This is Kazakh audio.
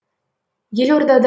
елорда